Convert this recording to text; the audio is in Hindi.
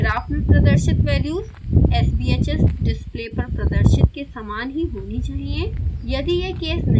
ध्यान दें कि ग्राफ में प्रदर्शित वैल्यूज़ sbhs डिस्प्ले पर प्रदर्शित के समान ही होनी चाहिए